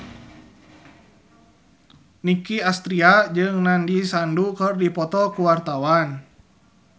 Nicky Astria jeung Nandish Sandhu keur dipoto ku wartawan